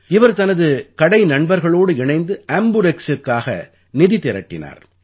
இவர் தனது கடை நண்பர்களோடு இணைந்து ஆம்புரெக்ஸ்க்குக்காக நிதி திரட்டினார்